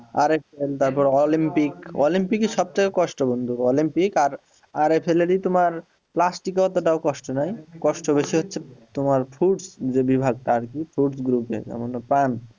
আরেকটা তারপর olympic olympic এ সবথেকে কষ্ট বন্ধু olympic আর এ তোমার এ অতটা কষ্ট নাই কষ্ট বেশি হচ্ছে তোমার fruits তে বিভাগ তার কি fruits group এ